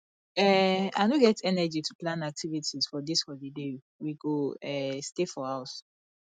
um i no get energy to plan activities for dis holiday we go um stay for house